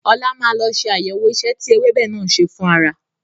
Ọlá máa lọ ṣe àyẹ̀wọ̀ ìṣe tí ewébẹ̀ náà ń ṣe fún ara.